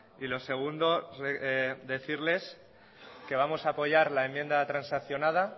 y lo segundo decirles que vamos a apoyar la enmienda transaccionada